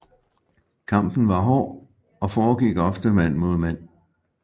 Kampen var hård og foregik ofte mand mod mand